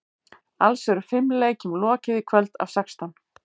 Alls eru fimm leikjum lokið í kvöld af sextán.